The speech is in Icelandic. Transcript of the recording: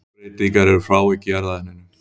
Stökkbreytingar eru frávik í erfðaefninu.